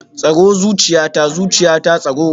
Tsaro zuciyata, zuciyata tsaro